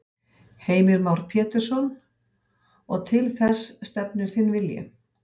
Heimir Már Pétursson: Og til þess stefnir þinn vilji?